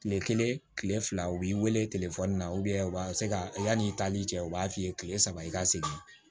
Kile kelen kile fila u b'i wele telefɔni na u b'a se ka yanni i taali cɛ u b'a f'i ye kile saba i ka segin